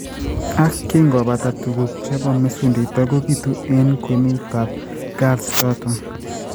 Ak kingo pata tuguuk che po mesundeito, kobiitu eng' kwenutap galls chotok.